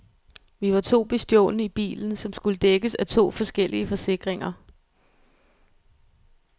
Vi var to bestjålne i bilen, som skulle dækkes af to forskellige forsikringer.